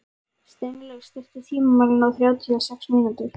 Steinlaug, stilltu tímamælinn á þrjátíu og sex mínútur.